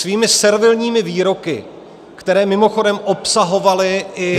Svými servilními výroky, které mimochodem obsahovaly i -